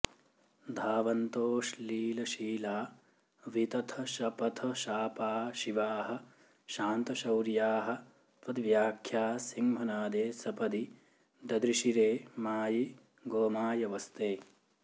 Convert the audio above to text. धावन्तोऽश्लीलशीला वितथ शपथ शापा शिवाः शान्त शौर्याः त्वद्व्याख्या सिंहनादे सपदि ददृशिरे मायि गोमायवस्ते